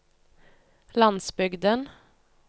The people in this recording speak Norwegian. landsbygden